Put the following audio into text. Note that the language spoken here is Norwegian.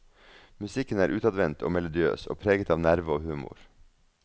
Musikken er utadvendt og melodiøs, og preget av nerve og humor.